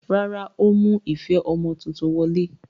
Rárá, ó mú ife ọmọ tuntun wọlé.